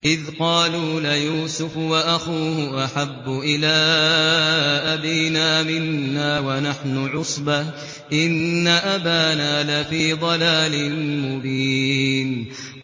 إِذْ قَالُوا لَيُوسُفُ وَأَخُوهُ أَحَبُّ إِلَىٰ أَبِينَا مِنَّا وَنَحْنُ عُصْبَةٌ إِنَّ أَبَانَا لَفِي ضَلَالٍ مُّبِينٍ